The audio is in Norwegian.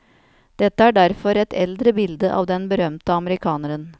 Dette er derfor et eldre bilde av den berømte amerikaneren.